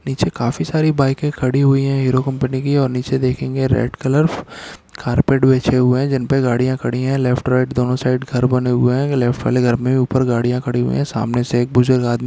नीचे काफी सारी बाईकें खड़ी हुई हैं हीरो कंपनी की और नीचे देखेंगे रेड़ कलर कार्पेट बिछे हुए हैं जिन पे गाड़ियाँ खड़ी हैं लेफ्ट राइट दोनों साइड घर बने हुए हैं लेफ्ट वाले घर में ऊपर गाड़ियाँ खड़ी हुई हैं सामने से एक बुजुर्ग आदमी --